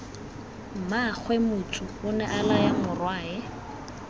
mmaagwe motsu onea laya morwae